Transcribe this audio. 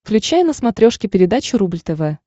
включай на смотрешке передачу рубль тв